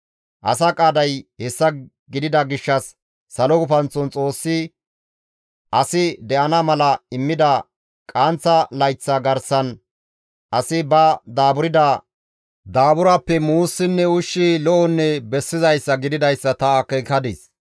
Asa qaaday hessa gidida gishshas salo gufanththon Xoossi asi de7ana mala immida qaanththa layththa garsan asi ba daaburda daaburappe muussinne ushshi lo7onne bessizayssa gididayssa ta akeekadis.